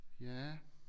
Ja